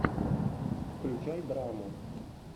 включай драму